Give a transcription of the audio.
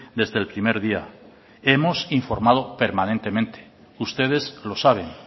desde el primer día hemos informado permanentemente ustedes lo saben